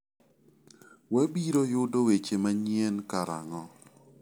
Wabiro yudo weche manyien karang'o?